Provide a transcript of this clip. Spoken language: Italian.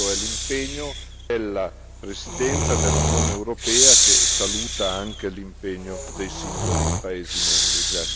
Questo è l'impegno della Presidenza dell'Unione europea che saluta anche l'impegno dei singoli paesi membri.